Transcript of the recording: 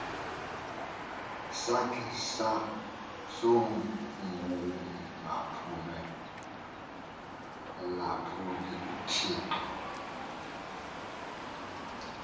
sakhe sokungamphulaphuli uthixo